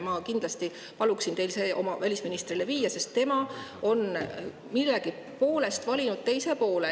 Ma kindlasti palun teil see oma välisministrile viia, sest tema on millegipärast valinud teise poole.